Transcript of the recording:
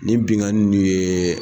Nin binkanni ninnu ye.